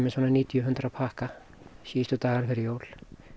um níutíu til hundrað pakka síðustu dagana fyrir jól